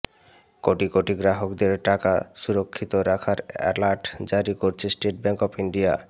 কোটি কোটি গ্রাহকদের টাকা সুরক্ষিত রাখার অ্যালার্ট জারি করেছে স্টেট ব্যাঙ্ক অব ইন্ডিয়া